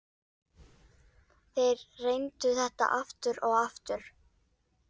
Þeir reyndu þetta aftur og aftur.